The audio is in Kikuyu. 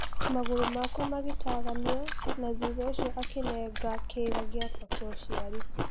Magũrũ makwa magetaganio na thutha ũcio akĩnenga kĩĩga giakwa kĩa ũciari